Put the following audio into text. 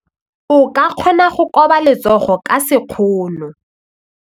O ka kgona go koba letsogo ka sekgono.